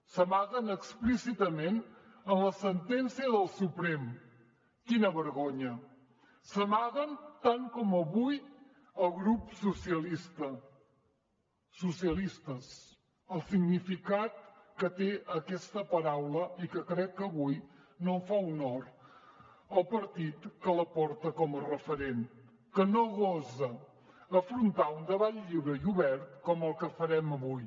s’amaguen explícitament en la sentència del suprem quina vergonya s’amaguen tant com avui el grup socialista socialistes el significat que té aquesta paraula i que crec que avui no fa honor al partit que la porta com a referent que no gosa afrontar un debat lliure i obert com el que farem avui